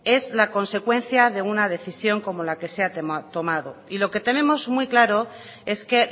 es la consecuencia de una decisión como la que se ha tomado y lo que tenemos muy claro es que